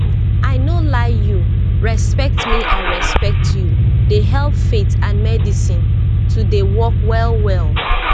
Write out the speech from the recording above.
i no lie you respect me i respect you dey help faith and medicine to dey work well well